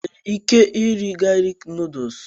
Ị nwere ike irì galik nuduls?